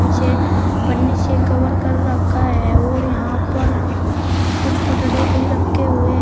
पीछे पन्नी से कवर कर रखा है और यहां पर कुछ पटड़े भी रखे हुए--